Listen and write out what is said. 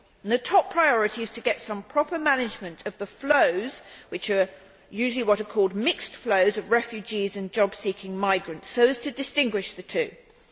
The top priority is to get some proper management of the flows, which are usually what are called mixed flows' of refugees and job seeking migrants, so as to distinguish between the two.